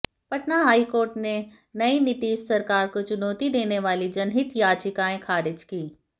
Patna high court ने नई नीतीश सरकार को चुनौती देने वाली जनहित याचिकाएं खारिज कीं